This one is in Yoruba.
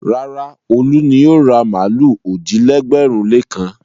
Rárá, Olú ni yóò ra màlúù òjì-lẹ́gbẹ̀rún-lékan.